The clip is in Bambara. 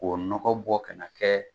K'o nɔgɔ bɔ ka na kɛ.